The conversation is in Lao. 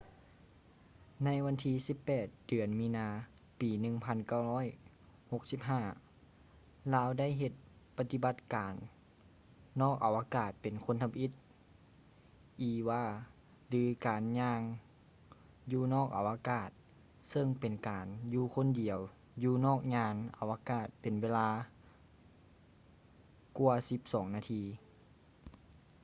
ໃນວັນທີ 18 ເດືອນມີນາ ປີ 1965 ລາວໄດ້ເຮັດປະຕິບັດການນອກອະວະກາດເປັນຄົນທຳອິດ eva ຫຼື ການຍ່າງຢູ່ນອກອະວະກາດ” ເຊິ່ງເປັນການຢູ່ຄົນດຽວຢູ່ນອກຍານອາວະກາດເປັນເວລາກວ່າສິບສອງນາທີ